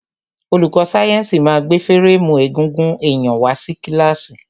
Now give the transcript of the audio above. Olùkó sáyẹ́nsì ma gbé férémù egungun èyàn wá sí kílàsì.